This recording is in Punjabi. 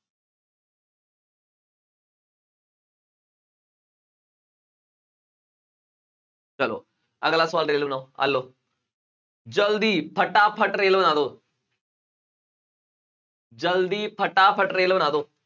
ਚਲੋ ਅਗਲਾ ਸਵਾਲ ਦੇਖ ਆਹ ਲਓ ਜ਼ਲਦੀ ਫਟਾਫਟ ਰੇਲ ਬਣਾ ਦਓ ਜ਼ਲਦੀ ਫਟਾਫਟ ਰੇਲ ਬਣਾ ਦਓ